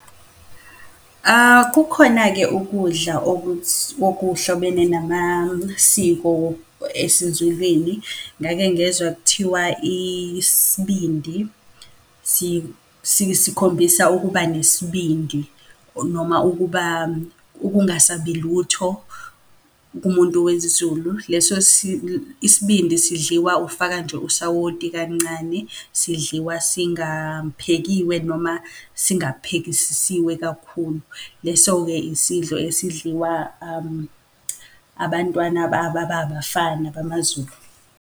Kukhona-ke ukudla okuthi wokuhlobene namasiko esiZulwini. Ngake ngezwa kuthiwa isibindi sikhombisa ukuba nesibindi noma ukuba ukungasabi lutho kumuntu wesiZulu. Leso isibindi sidliwa ufaka nje usawoti kancane, sidliwa singaphekiwe, noma singaphekisisiwe kakhulu. Leso-ke isidlo esidliwa abantwana ababafana bamaZulu.